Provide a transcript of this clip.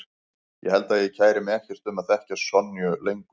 Ég held að ég kæri mig ekkert um að þekkja Sonju lengur.